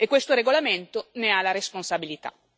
Questo regolamento ne ha la responsabilità.